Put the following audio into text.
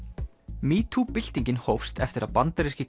metoo byltingin hófst eftir að bandaríski